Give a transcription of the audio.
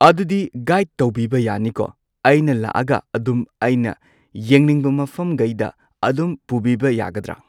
ꯑꯗꯨꯗꯤ ꯒꯥꯏꯗ ꯇꯧꯕꯤꯕ ꯌꯥꯅꯤꯀꯣ ꯑꯩꯅ ꯂꯥꯛꯑꯒ ꯑꯗꯨꯝ ꯑꯩꯅ ꯌꯦꯡꯅꯤꯡꯕ ꯃꯐꯝꯒꯩꯗ ꯑꯗꯨꯝ ꯄꯨꯕꯤꯕ ꯌꯥꯒꯗ꯭ꯔ꯫